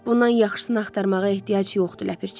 Bundan yaxşısını axtarmağa ehtiyac yoxdur, Ləpirçi.